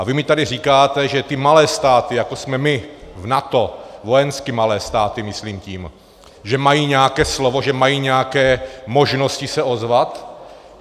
A vy mi tady říkáte, že ty malé státy, jako jsme my, v NATO, vojensky malé státy tím myslím, že mají nějaké slovo, že mají nějaké možnosti se ozvat?